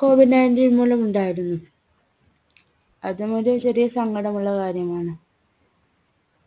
Covid nineteen മൂലം ഉണ്ടായിരുന്നു. അതും ഒരു ചെറിയ സങ്കടമുള്ള കാര്യമാണ്.